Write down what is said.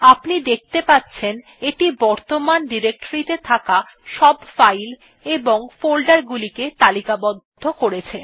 আপনি দেখতে পাচ্ছেন এটি বর্তমান ডিরেক্টরি ত়ে থাকা সব ফাইল এবং ফোল্ডার গুলিকে তালিকাবদ্ধ করে